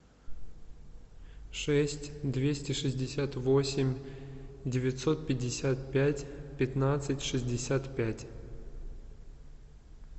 шесть двести шестьдесят восемь девятьсот пятьдесят пять пятнадцать шестьдесят пять